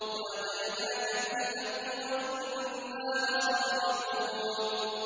وَأَتَيْنَاكَ بِالْحَقِّ وَإِنَّا لَصَادِقُونَ